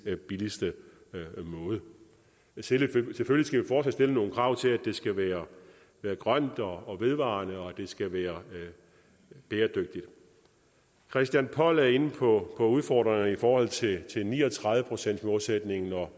den billigste måde selvfølgelig skal vi fortsat stille nogle krav til at det skal være grønt og vedvarende og at det skal være bæredygtigt christian poll var inde på udfordringerne i forhold til ni og tredive procentsmålsætningen og